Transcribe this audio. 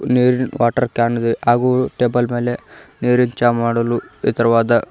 ನೀರಿನ್ water can ಇದೆ ಹಾಗೂ ಟೇಬಲ್ ಮೇಲೆ ನೀರಿನ್ ಚಾ ಮಾಡಲು ಎತ್ತರವಾದ --